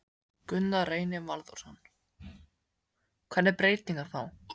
Gunnar Reynir Valþórsson: Hvernig breytingar þá?